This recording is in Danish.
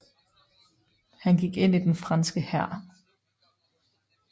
Han gik ind i den franske hær